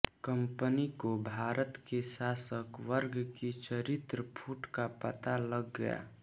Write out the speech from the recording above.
company को भारत के शासक वर्ग की चरित्र फूट का पता लग गया